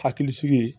Hakilisigi